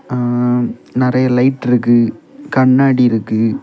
நறைய லைட் இருக்கு கண்ணாடி இருக்கு.